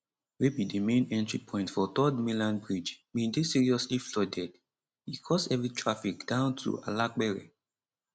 wey be di main entry point for 3rd mainland bridge bin dey seriously flooded e cause heavy traffic down to to alapere